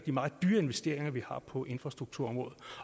meget dyre investeringer vi har på infrastrukturområdet